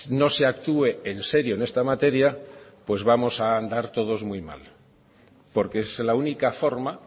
no se actúe en serio en esta materia pues vamos a andar todos muy mal porque es la única forma